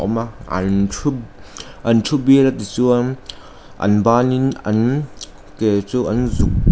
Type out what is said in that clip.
awm a an thu an thu bial a tichuan an banin an ke chu an zuk--